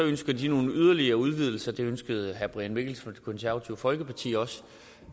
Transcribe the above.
ønsker nogle yderligere udvidelser og det ønskede herre brian mikkelsen fra det konservative folkeparti også